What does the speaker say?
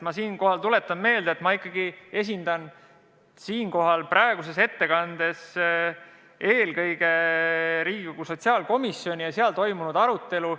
Ma tuletan meelde, et ma ikkagi esindan siin praegu eelkõige Riigikogu sotsiaalkomisjoni ja tutvustan seal toimunud arutelu.